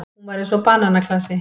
Hún var eins og bananaklasi.